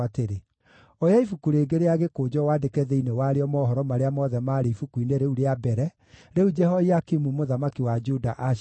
“Oya ibuku rĩngĩ rĩa gĩkũnjo wandĩke thĩinĩ warĩo mohoro marĩa mothe maarĩ ibuku-nĩ rĩu rĩa mbere, rĩu Jehoiakimu mũthamaki wa Juda aacinire.